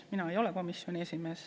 Mina ei ole komisjoni esimees.